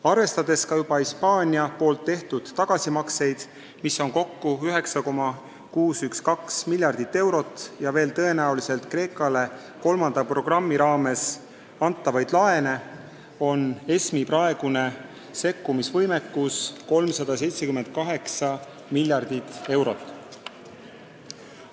Arvestades Hispaania tehtud tagasimakseid, mis on kokku 9,612 miljardit eurot, ja veel tõenäoliselt Kreekale kolmanda programmi raames antavaid laene, on ESM-i praegune sekkumisvõimekus 378 miljardit eurot.